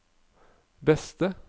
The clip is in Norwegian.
beste